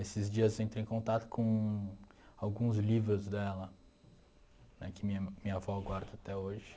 Esses dias eu entrei em contato com alguns livros dela, né, que minha minha avó guarda até hoje.